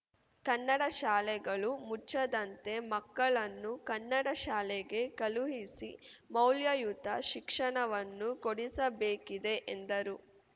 ಕನ್ನಡ ಶಾಲೆಗಳು ಮುಚ್ಚದಂತೆ ಮಕ್ಕಳನ್ನು ಕನ್ನಡ ಶಾಲೆಗೆ ಕಳುಹಿಸಿ ಮೌಲ್ಯಯುತ ಶಿಕ್ಷಣವನ್ನು ಕೊಡಿಸಬೇಕಿದೆ ಎಂದರು